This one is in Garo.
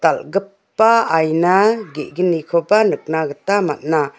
dal·gipa aina ge·gnikoba nikna gita man·a.